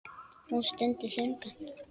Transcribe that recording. Hún stundi þungan.